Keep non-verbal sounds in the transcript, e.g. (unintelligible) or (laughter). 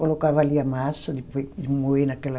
Colocava ali a massa de, (unintelligible) de moer naquela...